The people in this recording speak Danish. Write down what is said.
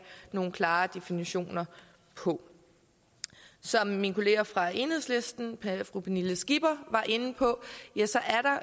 nogle klare definitioner på som min kollega fra enhedslisten fru pernille skipper var inde på